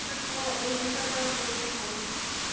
বিষয়টাও এই বিষয়টাও লক্ষ্য করেছি।